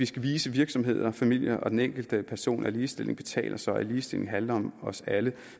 skal vise virksomheder familier og den enkelte person at ligestilling betaler sig og at ligestilling handler om os alle